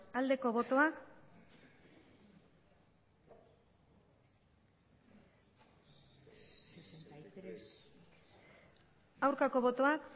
aldeko botoak aurkako botoak